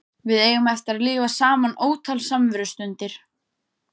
Við eigum eftir að lifa saman ótal samverustundir.